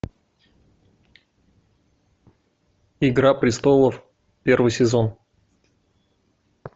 игра престолов первый сезон